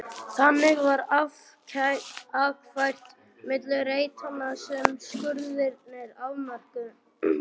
Þannig var akfært milli reitanna sem skurðirnir afmörkuðu.